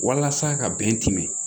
Walasa ka bɛn kɛmɛ